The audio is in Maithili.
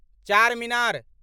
चारमीनार